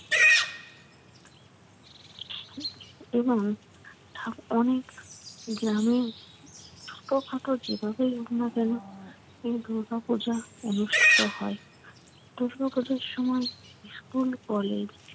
এবং ঠা অনেক গ্রামে ছোটখাটো যেভাবেই হোক না কেন এই দুর্গাপূজা অনুষ্ঠিত হয়। দুর্গাপূজার সময় স্কুল-কলেজ